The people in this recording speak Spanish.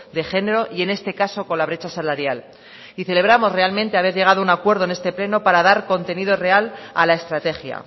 de género y en este caso con la brecha salarial y celebramos realmente haber llegado a un acuerdo en este pleno para dar contenido real a la estrategia